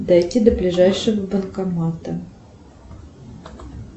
дойти до ближайшего банкомата